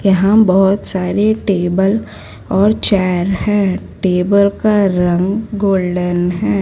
यहां बहोत सारे टेबल और चेयर है। टेबल का रंग गोल्डन है।